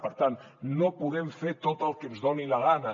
per tant no podem fer tot el que ens doni la gana